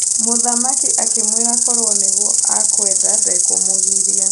Mũthamaki a kĩmwĩra korwo nĩguo akwenda ndakũmũgiria.